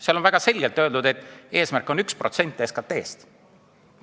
Seal on väga selgelt öeldud, et eesmärk on 1% SKT-st.